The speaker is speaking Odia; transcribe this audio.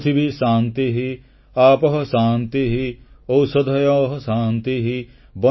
ପୃଥିବୀ ଶାନ୍ତିଃ ଆପଃ ଶାନ୍ତିଃ ଔଷଧୟଃ ଶାନ୍ତିଃ